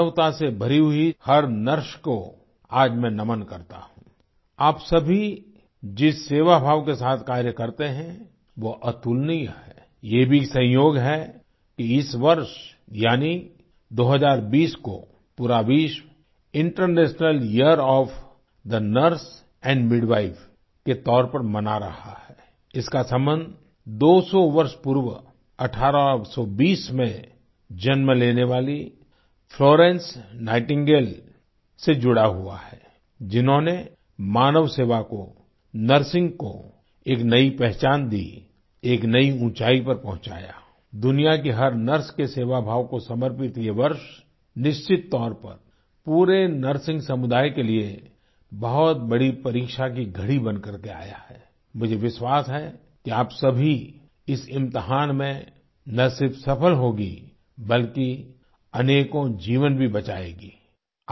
मानवता से भरी हुई हर नर्स को आज मैंनमन करता हूँ आप सभी जिस सेवा भाव के साथ कार्य करते है वो अतुलनीय हैये भी संयोग है कि इस वर्ष यानि 2020 को पूरा विश्वInternational year of the nurse and midwife के तौर पर मना रहा हैइसका सबंध 200 वर्ष पूर्व 1820 में जन्म लेने वाली फ्लोरेंस नाइटिंगेल से जुड़ा हुआ हैजिन्होंने मानव सेवा को नर्सिंग को एक नई पहचान दीएक नई ऊंचाई पर पहुँचायादुनिया की हर नर्स के सेवा भाव को समर्पित ये वर्ष निश्चित तौर पर पूरे नर्सिंग समुदाय के लिए बहुत बड़ी परीक्षा की घड़ी बनकरके आया हैमुझे विश्वास है कि आप सभी इस इम्तिहान में ना सिर्फ सफल होंगी बल्कि अनेकों जीवन भी बचाएंगी